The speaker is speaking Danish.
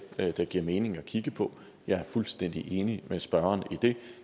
det giver mening at kigge på jeg er fuldstændig enig med spørgeren i det